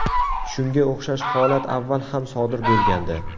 Shunga o‘xshash holat avval ham sodir bo‘lgandi.